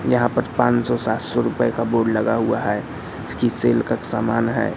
यहाँ पर पान सौ सात सौ रुपए का बोर्ड लगा हुआ है इसकी सेल का सामान है।